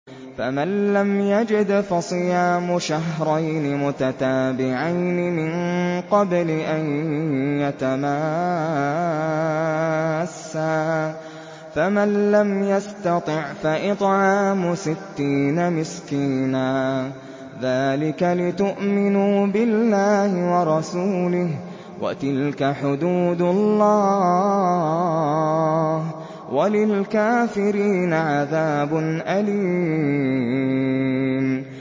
فَمَن لَّمْ يَجِدْ فَصِيَامُ شَهْرَيْنِ مُتَتَابِعَيْنِ مِن قَبْلِ أَن يَتَمَاسَّا ۖ فَمَن لَّمْ يَسْتَطِعْ فَإِطْعَامُ سِتِّينَ مِسْكِينًا ۚ ذَٰلِكَ لِتُؤْمِنُوا بِاللَّهِ وَرَسُولِهِ ۚ وَتِلْكَ حُدُودُ اللَّهِ ۗ وَلِلْكَافِرِينَ عَذَابٌ أَلِيمٌ